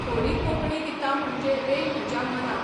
थोडीं कोंकणी गितां म्हणजे 'रे म्हज्या मना'.